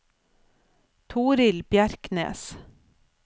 Torill Bjerknes